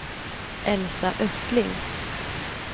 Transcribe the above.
Elsa Östling